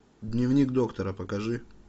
дневник доктора покажи